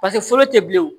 foro te bilen wo